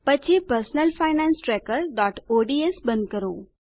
પછી personal finance trackerઓડ્સ બંધ કરો